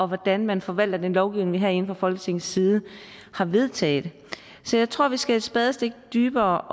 hvordan man forvalter den lovgivning vi herinde fra folketingets side har vedtaget så jeg tror vi skal et spadestik dybere